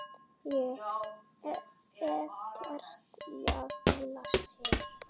Er ekkert að flýta sér.